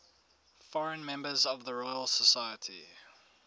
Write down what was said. foreign members of the royal society